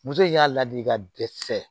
Muso in y'a ladi ka dɛsɛ